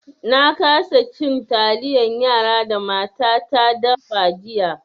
Na kasa cin taliyan yara da matata da fa jiya.